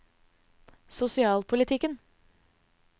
sosialpolitikken